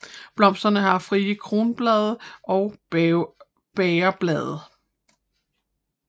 Blomsterne har frie kronblade og bægerblade